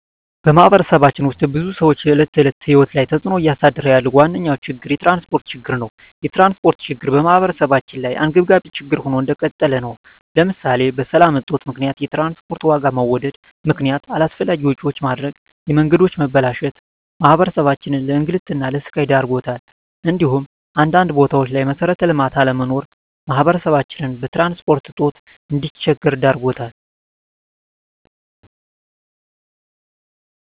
በማህበረሰባችን ውስጥ የብዙ ሰዎች የዕለት ተዕለት ህይወት ላይ ተፅእኖ እያሳደረ ያለው ዋነኛ ችግር የትራንስፖርት ችግር ነው። የትራንስፖርት ችግር በማህበረሰባችን ላይ አንገብጋቢ ችግር ሆኖ እንደቀጠለ ነው ለምሳሌ በሰላም እጦት ምክንያት የትራንስፖርት ዋጋ በመወደድ ምክነያት አላስፈላጊ ወጪዎች መዳረግ፣ የመንገዶች መበላሸት ማህበረሰባችንን ለእንግልትና ለስቃይ ዳርጓታል እንዲሁም አንዳንድ ቦታዎች ላይ መሠረተ ልማት አለመኖር ማህበረሰባችን በትራንስፖርት እጦት እንዲቸገር ዳርጎታል።